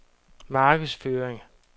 markedsføring